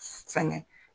Sɛŋɛ